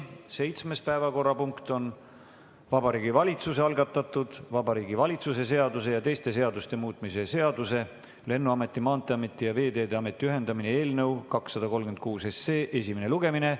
Seitsmes päevakorrapunkt on Vabariigi Valitsuse algatatud Vabariigi Valitsuse seaduse ja teiste seaduste muutmise seaduse eelnõu 236 esimene lugemine.